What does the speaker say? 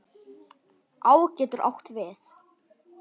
Á getur átt við